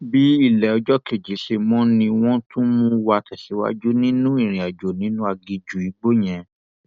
bí ilé ọjọ kejì ṣe mọ ni wọn tún mú wa tẹsíwájú nínú ìrìnàjò nínú aginjù igbó yẹn